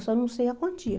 Eu só não sei a quantia.